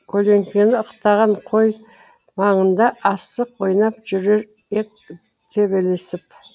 көлеңкені ықтаған қой маңында асық ойнап жүрер ек төбелесіп